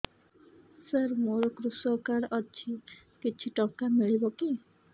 ସାର ମୋର୍ କୃଷକ କାର୍ଡ ଅଛି କିଛି ଟଙ୍କା ମିଳିବ କି